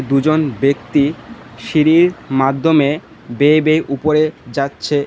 দুজন ব্যক্তি সিঁড়ির মাধ্যমে বেয়ে বেয়ে উপরে যাচ্ছে।